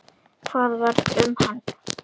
Hvað varð um hann?